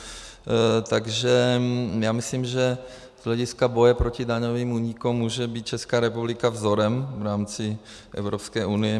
Takže já myslím, že z hlediska boje proti daňovým únikům může být Česká republika vzorem v rámci Evropské unie.